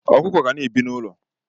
Ọkụkọ ga na ebi na ụlọ.